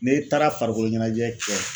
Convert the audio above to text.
N'e taara farikolo ɲɛnajɛ kɛ.